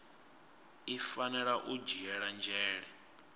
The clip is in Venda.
i fanela u dzhiela nzhele